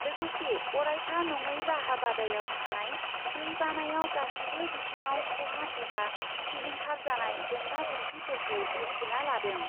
लोगोसे अरायथा नङै राहा बादायाव थानाय दै बानायाव गासिबो बिथिङाव खहा एबा सिलिंखार जानाय जेंना जेंसिफोरखौ मिबथिना लादों ।